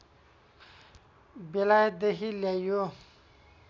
बेलायतदेखि ल्याइयो